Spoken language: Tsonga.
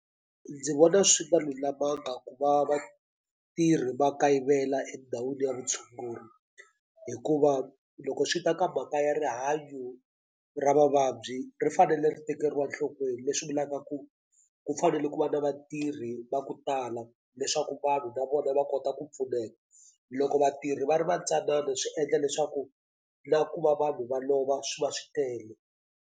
Ndzi vona swi nga lulamanga ku va vatirhi va kayivela endhawini ya vutshunguri hikuva loko swi ta ka mhaka ya rihanyo ra mavabyi ri fanele ri tekeriwa nhlokweni leswi vulaka ku ku fanele ku va na vatirhi va ku tala leswaku vanhu na vona va kota ku pfuneka loko vatirhi va ri va ntsanana swi endla leswaku na ku va vanhu va lova swi va swi tele.